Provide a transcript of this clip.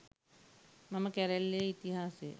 මම කැරැල්ලේ ඉතිහාසය